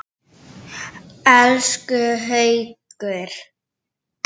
Elsku Haukur!